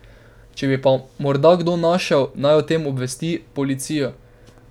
Če pa bi ga morda kdo našel, naj o tem obvesti policijo.